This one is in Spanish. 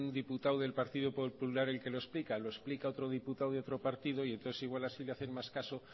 diputado del partido popular el que lo explica lo explica otro diputado de otro partido y entonces igual así le hacen más caso